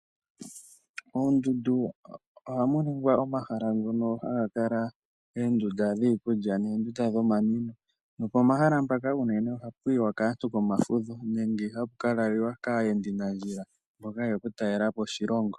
Oondundu ohamu ningwa omahala ngono haga kala oondunda dhiikulya noondunda dhomanwino, nopomahala mpaka unene ohapu yiwa kaantu pomafudho nenge hapu kalaliwa kaayendanandjila mboka yeya okutalela po oshilongo.